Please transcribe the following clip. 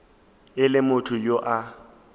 e le motho yo a